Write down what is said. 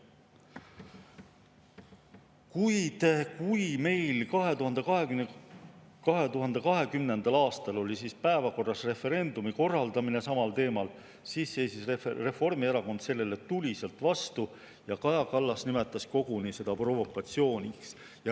Kuid kui meil 2020. aastal oli päevakorras referendumi korraldamine samal teemal, siis seisis Reformierakond sellele tuliselt vastu ja Kaja Kallas nimetas seda koguni provokatsiooniks.